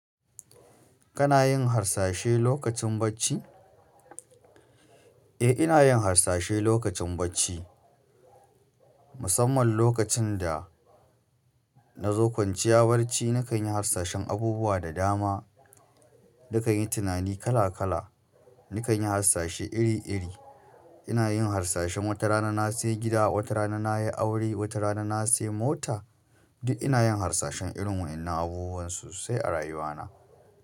Kana yin harsashi lokacin bacci? Eh, ina yin harsashi lokacin bacci. Musamman lokacin da na zo kwanciya barci, nakan yi harsashin abubuwa da dama. Nakanyi tunani kala kala, nakanyi tunani iri iri ina yin harsashin wata rana na sayi gida, wata rana na yi aure, wata rana na sayi mota. Duk ina yin harsashin irin wa'yannan abuwan so sai a rayuwa na.